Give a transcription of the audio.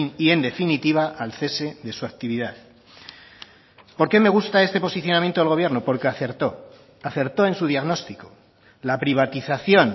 y en definitiva al cese de su actividad por qué me gusta este posicionamiento del gobierno porque acertó acertó en su diagnóstico la privatización